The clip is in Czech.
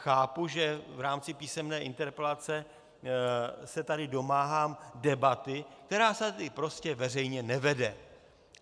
Chápu, že v rámci písemné interpelace se tady domáhám debaty, která se tady prostě veřejně nevede.